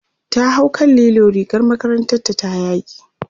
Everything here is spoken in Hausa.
ta hau kan lilo rigar makarantar ta ta yage